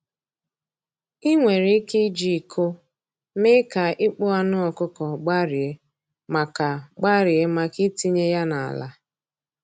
Ị nwere ike iji iko mee ka ịkpụ anụ ọkụkọ gbarie maka gbarie maka itinye ya n’ala.